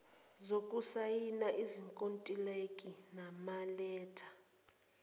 zokusayina izinkontilaki nabaletha